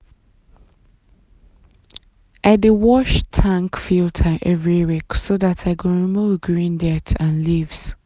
i dey wash tank filter every week so dat i go remove green dirt and leaves.